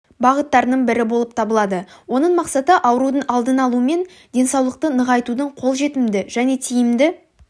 бағыттарының бірі болып табылады оның мақсаты аурудың алдын алу мен денсаулықты нығайтудың қолжетімді және тиімді